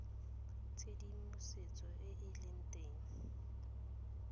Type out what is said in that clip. tshedimosetso e e leng teng